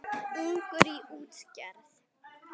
Ungur í útgerð